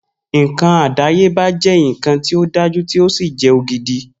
Nkan àdáyébá jé nkan tí o dájú tí o sì jẹ ògidì